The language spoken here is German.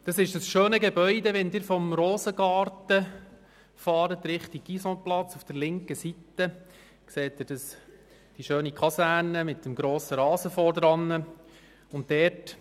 Diese schöne Kaserne mit dem schönen Rasen davor erblicken Sie auf der linken Seite, wenn Sie vom Rosengarten kommend Richtung Guisanplatz fahren.